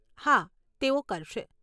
હા, તેઓ કરશે.